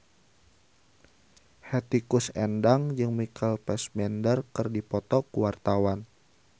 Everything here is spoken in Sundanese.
Hetty Koes Endang jeung Michael Fassbender keur dipoto ku wartawan